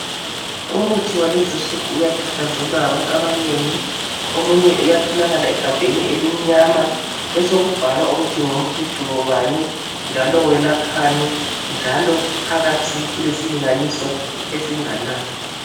Umuthi walezinsuku uyathakazelelwa ngabantu abanengi, omunye iyatholakala egabheni elimnyama besekubhalwa ukuthi ngumuthi mhlobobani njalo welaphani njalo phakathi kulesilinganiso esinganani.